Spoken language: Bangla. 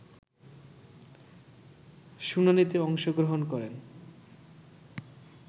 শুনানিতে অংশগ্রহণ করেন